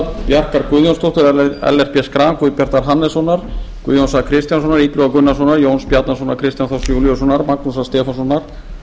bjarkar guðjónsdóttur ellert b schram guðbjartur hannessonar guðjóns a kristjánssonar illuga gunnarssonar jóns bjarnasonar kristjáns þórs júlíusson magnúsar stefánssonar